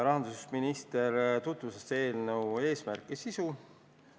Rahandusminister tutvustas eelnõu eesmärki ja sisu.